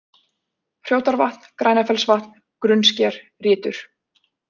Hrjótarvatn, Grænafellsvatn, Grunnsker, Rytur